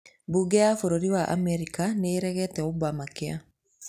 Bunge ya bũrũri wa Amerika nĩ ĩregete Obamacare